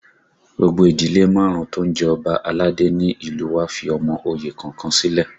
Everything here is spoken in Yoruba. Gbogbo ìdílé márùn-ún tó ń jẹ Ọba aládé ni ní ìlú u wa fi ọmọ oyè kọ̀ọ̀kan sílẹ̀